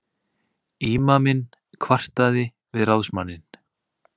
Ímaminn kvartaði við ráðsmanninn.